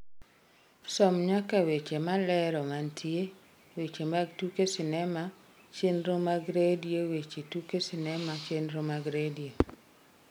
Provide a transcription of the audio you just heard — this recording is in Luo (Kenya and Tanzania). som nyaka weche malero mantie weche mag tuke sinema chenro mag redio weche tuke sinema chenro mag redio